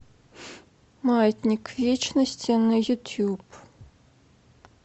маятник вечности на ютюб